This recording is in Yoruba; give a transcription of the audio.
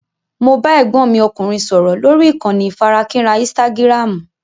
Mo bá Ẹ̀gbọ́n mi ọkùnrin sọ̀rọ̀ lórí ìkànnì onífarakínra "istágiráámù".